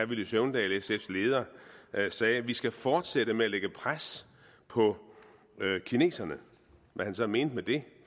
villy søvndal sf’s leder sagde vi skal fortsætte med at lægge pres på kineserne hvad han så mente med det